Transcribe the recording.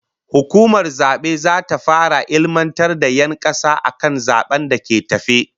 Hukumar zabe zata fara ilmantar da 'yan kasa akan zaben da ke tafe